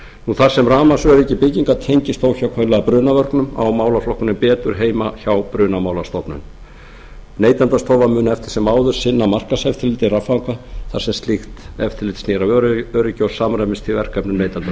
þar sem rafmagnsöryggi bygginga tengist óhjákvæmilega brunavörnum á málaflokkurinn betur heima hjá brunamálastofnun neytendastofa mun eftir sem áður sinna markaðseftirliti raffanga þar sem slíkt eftirlit snýr að öryggi og samræmist því verkefni neytendastofu